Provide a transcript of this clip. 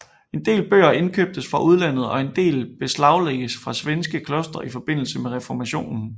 En del bøger indkøbtes fra udlandet og en del beslaglagdes fra svenske klostre i forbindelse med reformationen